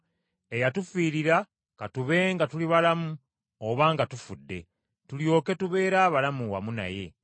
eyatufiirira ka tube nga tuli balamu oba nga tufudde, tulyoke tubeere balamu wamu naye.